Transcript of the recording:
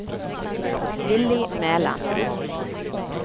Willy Mæland